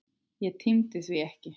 Ég tímdi því ekki.